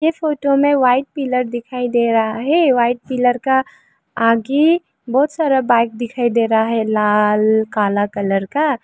इस फोटो में white pillar दिखाई दे रहा है व्हाइट पिलर का आगे बहुत सारा बाइक दिखाई दे रहा है लाल काला कलर का।